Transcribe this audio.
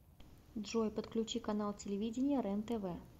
джой подключи канал телевидения рентв